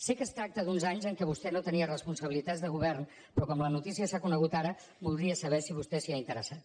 sé que es tracta d’uns anys en què vostè no tenia responsabilitats de govern però com que la notícia s’ha conegut ara voldria saber si vostè s’hi ha interessat